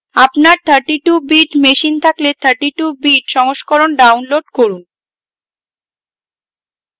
আপনার 32 bit machine থাকলে 32 bit সংস্করণ download করুন